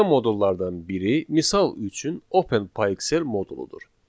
Belə modullardan biri misal üçün Open PyExcel moduludur.